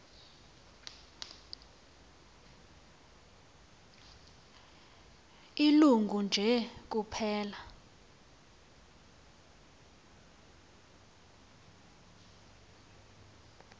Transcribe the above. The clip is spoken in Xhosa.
ilungu nje kuphela